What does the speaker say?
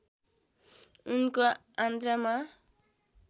उनको आन्द्रामा